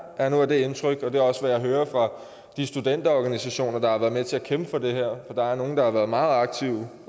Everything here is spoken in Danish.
er nu af det indtryk og det er også hvad jeg hører fra de studenterorganisationer der har været med til at kæmpe for det her og der er nogle der har været meget aktive